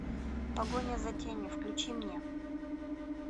погоня за тенью включи мне